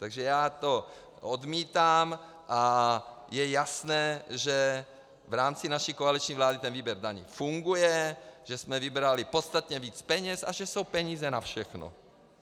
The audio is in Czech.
Takže já to odmítám a je jasné, že v rámci naší koaliční vlády ten výběr daní funguje, že jsme vybrali podstatně víc peněz a že jsou peníze na všechno.